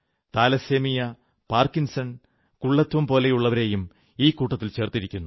thalassemia Parkinson കുള്ളത്വം പോലുള്ളവരെയും ഈ കൂട്ടത്തിൽ ചേർത്തിരിക്കുന്നു